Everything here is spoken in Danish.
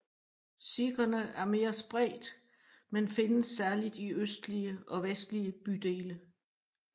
Sikherne er mere spredt men findes særligt i østlige og vestlige bydele